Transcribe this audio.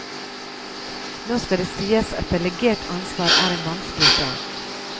Nå skal det sies at delegert ansvar er en vanskelig sak.